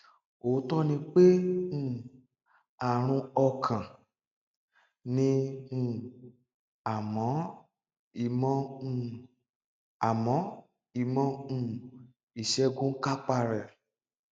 òótọ ni pé um àrùn ọkàn ni um àmọ ìmọ um àmọ ìmọ um ìṣègùn kápá rẹ